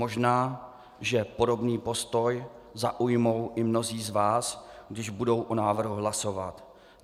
Možná že podobný postoj zaujmou i mnozí z vás, když budou o návrhu hlasovat.